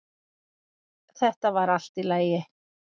Þetta var allt í lagi